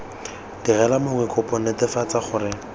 direla mongwe kopo netefatsa gore